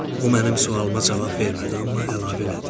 O mənim sualıma cavab vermədi, amma əlavə elədi.